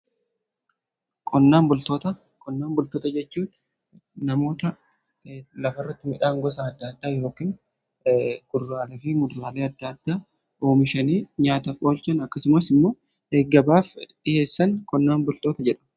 Qonnaan bultoota jechuu namoota lafarratti midhaan gosa adda addaa yookan kuduraalee fi muduraalee adda addaa oomishanii nyaataaf oolchan. Akkasumas immoo gabaaf dhiyeessan qonnaan bultoota jedhamu.